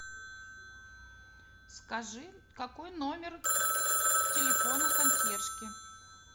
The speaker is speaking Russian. скажи какой номер телефона консьержки